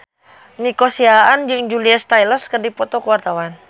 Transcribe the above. Nico Siahaan jeung Julia Stiles keur dipoto ku wartawan